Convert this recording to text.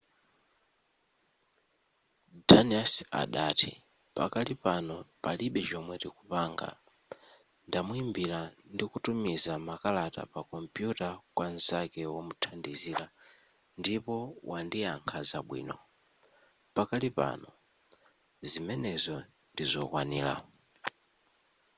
danius adati pakali pano palibe chomwe tikupanga ndamuimbira ndi kutumiza makalata pa kompuyuta kwa nzake womuthandizira ndipo wandiyakha zabwino pakali pano zimenezo ndizokwanira